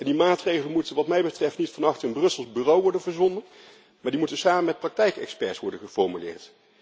Die maatregelen moeten wat mij betreft niet vannacht in een Brussels bureau worden verzonnen, maar die moeten samen met praktijkexperts worden geformuleerd.